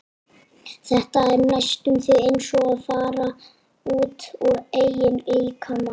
Þetta er næstum því eins og að fara út úr eigin líkama.